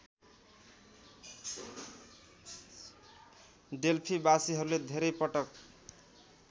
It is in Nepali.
डेल्फीबासीहरूले धेरै पटक